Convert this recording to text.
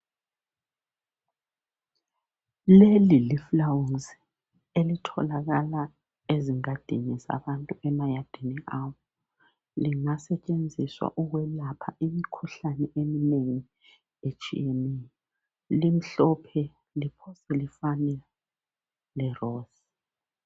Leli lifulawusi elitholakala ezingadini zabantu emayadini abo. Lingasetshenziswa ukulapha imikhuhlane eminengi etshiyeneyo. Limhlophe liphose ilfane le 'rose'.